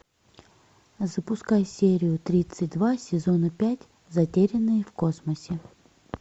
запускай серию тридцать два сезона пять затерянные в космосе